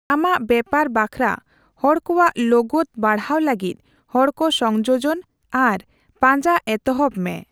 ᱟᱢᱟᱜ ᱵᱮᱯᱟᱨ ᱵᱟᱠᱷᱨᱟ ᱦᱚᱲ ᱠᱚᱣᱟᱜ ᱞᱳᱜᱳᱫ ᱵᱟᱲᱦᱟᱣ ᱞᱟᱹᱜᱤᱫ ᱦᱚᱲ ᱠᱚ 'ᱥᱚᱝᱡᱳᱡᱚᱱ' ᱟᱨ 'ᱯᱟᱸᱡᱟ' ᱮᱛᱦᱚᱵ ᱢᱮ ᱾